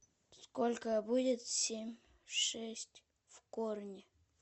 сколько будет семь шесть в корне